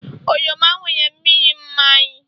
oroma nwere mmiri mmanyi